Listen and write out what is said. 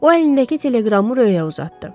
O əlindəki teleqramı Röyə uzatdı.